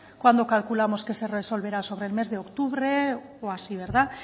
cuándo calculamos que se resolverá sobre el mes de octubre o así verdad